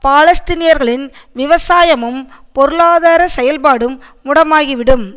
பாலஸ்தீனியர்களின் விவசாயமும் பொருளாதார செயல்பாடும் முடமாகிவிடும்